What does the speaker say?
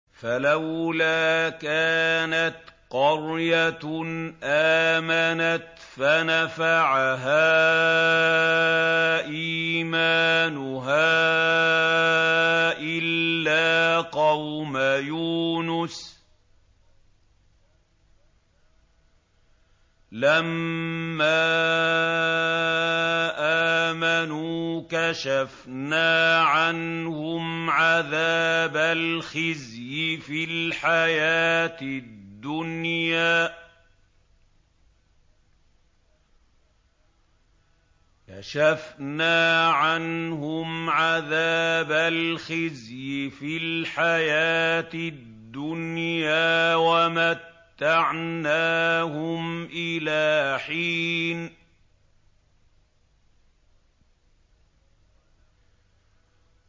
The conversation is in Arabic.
فَلَوْلَا كَانَتْ قَرْيَةٌ آمَنَتْ فَنَفَعَهَا إِيمَانُهَا إِلَّا قَوْمَ يُونُسَ لَمَّا آمَنُوا كَشَفْنَا عَنْهُمْ عَذَابَ الْخِزْيِ فِي الْحَيَاةِ الدُّنْيَا وَمَتَّعْنَاهُمْ إِلَىٰ حِينٍ